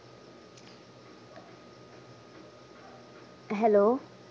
hello